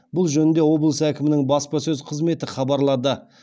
бұл жөнінде облыс әкімінің баспасөз қызметі хабарлады